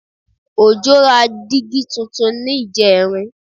Òjó ra dígí tuntun ní ìjẹrin